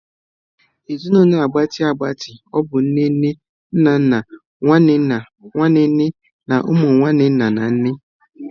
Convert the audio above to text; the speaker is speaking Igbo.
Ezinụlọ a gbatịa agbati bụ nne nne, nna nna, nwanne nna, nwanne nne na umu nwanne nna na nne.